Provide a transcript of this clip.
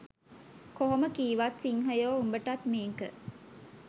කොහොම කීවත් සින්හයෝ උඹටත් මේක